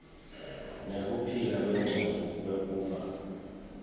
nekuphila kwengcondvo kwekuba